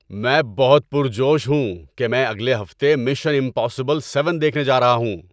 میں بہت پرجوش ہوں کہ میں اگلے ہفتے مشن امپاسبل سیون دیکھنے جا رہا ہوں۔